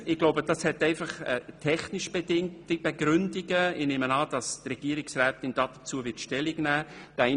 : Die Begründungen sind technisch bedingt, und ich gehe davon aus, dass Regierungsrätin Egger dazu Stellung nehmen wird.